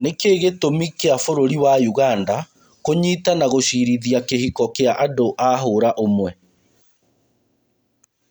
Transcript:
Nĩkĩĩ gĩtũmĩ kĩa bũrũri wa ũganda kũnyita na gũcirithia kĩhiko kia andũa hũra ũmwe.